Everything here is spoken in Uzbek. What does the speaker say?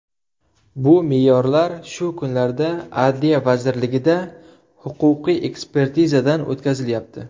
Bu me’yorlar shu kunlarda Adliya vazirligida huquqiy ekspertizadan o‘tkazilyapti.